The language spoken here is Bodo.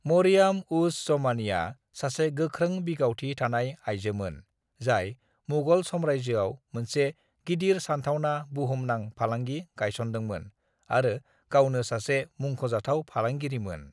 मरियम-उज़-ज़मानीआ सासे गोख्रों बिगावथि थानाय आयजोमोन जाय मुगल साम्रायजोआव मोनसे गिदिर सानथावना बुहुमनां फालांगि गायसनदोंमोन आरो गावनो सासे मुंखजाथाव फालांगिरिमोन।